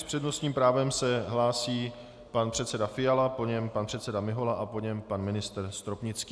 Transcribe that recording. S přednostním právem se hlásí pan předseda Fiala, po něm pan předseda Mihola a po něm pan ministr Stropnický.